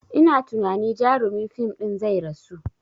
Ina tunani jarumin fim ɗin zai rasu